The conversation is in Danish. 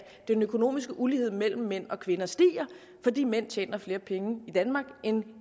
den økonomiske ulighed mellem mænd og kvinder stiger fordi mænd tjener flere penge end